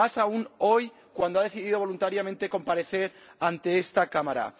Más aún hoy, cuando ha decidido voluntariamente comparecer ante esta Cámara.